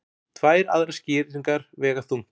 Tvær aðrar skýringar vega þungt